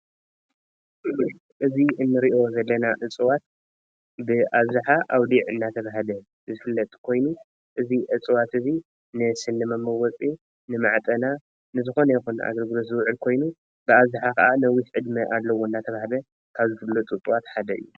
እዚ እንሪአ ዘለና እፅዋት ብአብዝሓ ኣውሊዕ እናተባሃለ ዝፍለጥ ኮይኑ እዚ እፅዋት እዚ ንስኒ መወፂ፣ ንማዕጠና ንዝኾነ ይኹን ኣገልግሎት ዝውዕል ኮይኑ ብኣብዝሓ ከዓ ነዊሕ ዕድመ አለዎ እንዳተባህለ ካብ ዝፍለጡ ካብ ዝፍለጡ እፅዋት ሓደ እዩ፡፡